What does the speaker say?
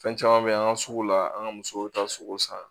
Fɛn caman bɛ an ka sugu la an ka musow ta sogo san